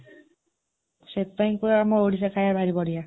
ସେଥିପାଇଁ କୁହେ , ଆମ ଓଡ଼ିଶା ଖାଇବା ଭାରି ବଢ଼ିଆ।